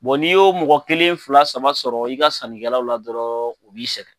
n'i y'o mɔgɔ kelen, fila, saba sɔrɔ i ka sannikɛlaw la dɔrɔn, o b'i sɛgɛn.